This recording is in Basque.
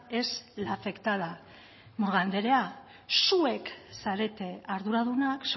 es la afectada murga andrea zuek zarete arduradunak